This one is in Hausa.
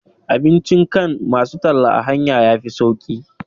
Abincin kan masu talla a hanya yafi sauƙi